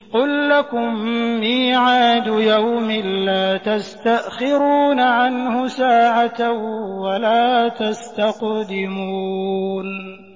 قُل لَّكُم مِّيعَادُ يَوْمٍ لَّا تَسْتَأْخِرُونَ عَنْهُ سَاعَةً وَلَا تَسْتَقْدِمُونَ